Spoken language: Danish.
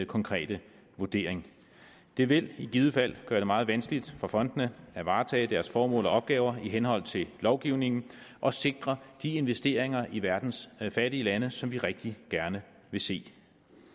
konkrete vurdering det vil i givet fald gøre det meget vanskeligt for fondene at varetage deres formål og opgaver i henhold til lovgivningen og sikre de investeringer i verdens fattige lande som vi rigtig gerne vil se